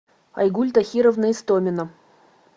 айгуль тахировна истомина